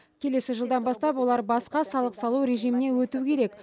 келесі жылдан бастап олар басқа салық салу режиміне өту керек